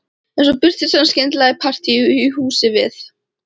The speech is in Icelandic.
En svo birtist hann skyndilega í partíi í húsi við